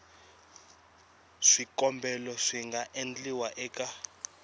swikombelo swi nga endliwa eka